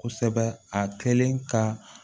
Kosɛbɛ a kɛlen ka